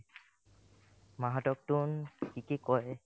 মাহঁতক তোন কি কি কয়ে ?